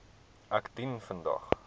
ek dien vandag